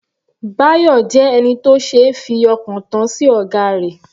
Bayo jẹ́ ẹni tó ṣeé fi ọkàn tán sí ọ̀gá rẹ̀.